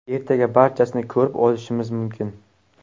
Ertaga barchasini ko‘rib olishimiz mumkin”.